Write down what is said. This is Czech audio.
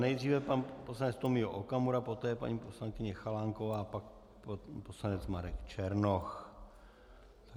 Nejdříve pan poslanec Tomio Okamura, poté paní poslankyně Chalánková, pak poslanec Marek Černoch.